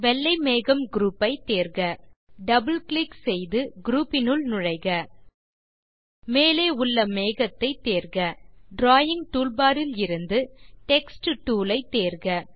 வெள்ளை மேகம் குரூப் ஐ தேர்க டபிள் கிளிக் செய்து குரூப் னுள் நுழைக மேலே உள்ள மேகத்தை தேர்க டிராவிங் டூல்பார் இலிருந்து டெக்ஸ்ட் டூல் ஐ தேர்க